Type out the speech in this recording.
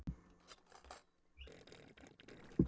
Þá settist Ólafur niður og skrifaði oddvita Árneshrepps bréf.